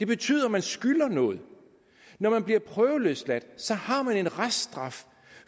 betyder at man skylder noget når man bliver prøveløsladt så har man en reststraf